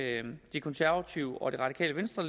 de konservative og det radikale venstre